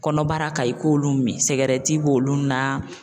Kɔnɔbara ka i k'olu min, sɛgɛrɛti b'olu na.